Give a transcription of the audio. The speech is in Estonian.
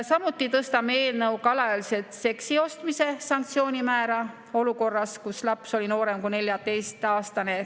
Samuti tõstame eelnõuga alaealiselt seksi ostmise sanktsiooni määra olukorras, kus laps on noorem kui 14‑aastane.